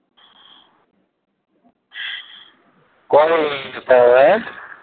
কবে থেকে যেতে হবে?